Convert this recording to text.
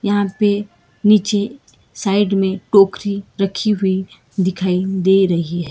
यहां पे नीचे साइड में टोकरी रखी हुई दिखाई दे रही --